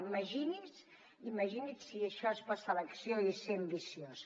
imagini’s imagini’s si això és passar a l’acció i ser ambiciós